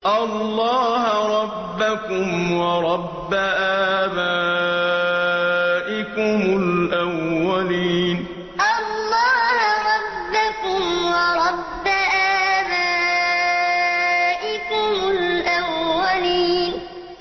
اللَّهَ رَبَّكُمْ وَرَبَّ آبَائِكُمُ الْأَوَّلِينَ اللَّهَ رَبَّكُمْ وَرَبَّ آبَائِكُمُ الْأَوَّلِينَ